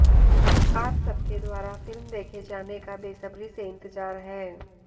आप सबके द्वारा फिल्म देखे जाने का बेसब्री से इंतजार है